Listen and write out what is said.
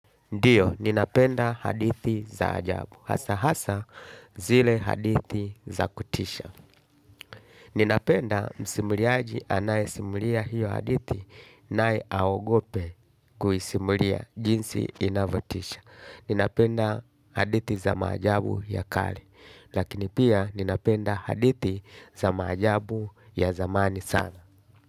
Ndiyo, ninapenda hadithi za ajabu, hasa hasa zile hadithi za kutisha. Ninapenda msimuliaji anaisimulia hiyo hadithi, nai aogope kuisimulia jinsi inavotisha. Ninapenda hadithi za majabu ya kari, lakini pia ninapenda hadithi za majabu ya zamani sana.